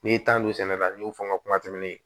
N'i y'i tanto sɛnɛ la n'i y'o fɔ n ka kuma tɛmɛnenw ye